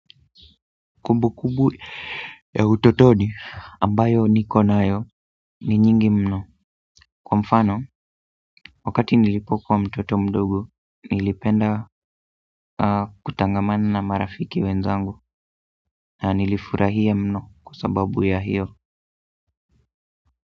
Kumbukumbu ya utotoni ambayo niko nayo ni nyingi mno kwa mfano, wakati nilipokuwa mtoto mdogo, nilipenda kutangamana na marafiki wenzangu na nilifurahia mno kwa sababu ya hiyo.